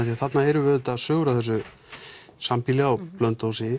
þarna eru sögur af þessu sambýli á Blönduósi